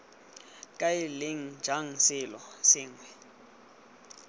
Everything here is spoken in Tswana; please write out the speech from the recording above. kae leng jang selo sengwe